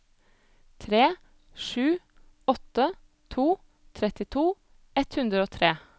tre sju åtte to trettito ett hundre og tre